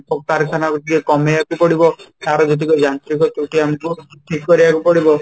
ଶିଳ୍ପ କାରଖାନା କୁ କମେଇବାକୁ ପଡିବ ତା'ର ଯେତିକ ଯାନ୍ତ୍ରିକ ତ୍ରୁଟି ଆମକୁ ଠିକ କରିବାକୁ ପଡିବ